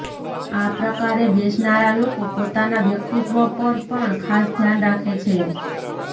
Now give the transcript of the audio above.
આ પ્રકારે બેસનારા લોકો પોતાના વ્યક્તિત્વ પર પણ ખાસ ધ્યાન રાખે છે